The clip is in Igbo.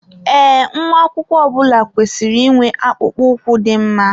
Ee, nwa akwụkwọ ọbula kwesịrị ị nwe akpụkpọ ụkwụ dị mma